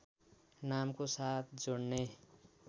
नामको साथ जोड्ने